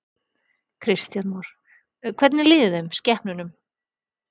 Kristján Már: Hvernig líður þeim, skepnunum?